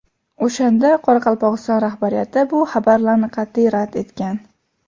O‘shanda Qoraqalpog‘iston rahbariyati bu xabarlarni qat’iy rad etgan.